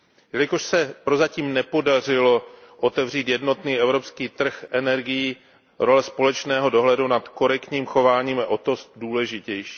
Jelikož se prozatím nepodařilo otevřít jednotný evropský trh energií, role společného dohledu nad korektním chováním je o to důležitější.